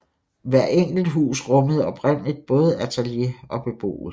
Hvert enkelt hus rummede oprindeligt både atelier og beboelse